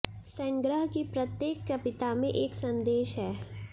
संग्रह की प्रत्येक कविता में एक संदेश है